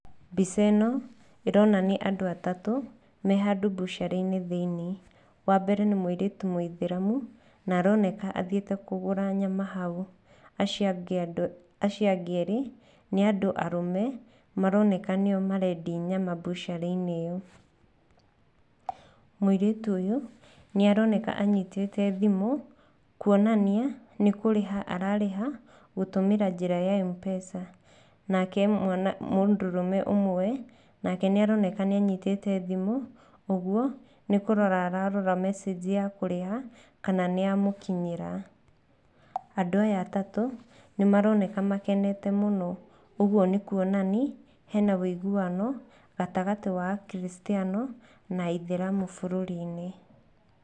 Mbica ĩno ĩronania andũ atatũ me handũ mbucarĩ-inĩ thĩiniĩ. Wa mbere nĩ mũirĩtu mũitheramu, na aroneka athiĩte kũgũra nyama hau. Acio angĩ erĩ, nĩ andũ arũme, maroneka nĩo marendia nyama mbucereinĩ ĩyo. Mũirĩtu ũyũ, nĩ aroneka anyitĩte thimu kwonania nĩ kũrĩha ararĩha gũtũmĩra njĩra ya M-pesa. Nake mũndũrũme ũmwe nake nĩaroneka nĩanyitĩte thimu. Ũguo, nĩ kũrora ararora mecenji ya kũrĩha kana nĩ yamũkinyĩra. Andũ aya atatũ nĩ maroneka makenete mũno. Ũguo nĩ kuonania hena ũiguano gatagatĩ wa akristiano na aitheramu bũrũrĩ-inĩ.